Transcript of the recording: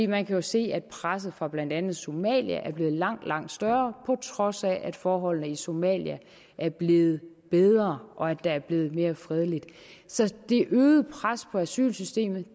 man kan jo se at presset fra blandt andet somalia er blevet langt langt større på trods af at forholdene i somalia er blevet bedre og at der er blevet mere fredeligt så det øgede pres på asylsystemet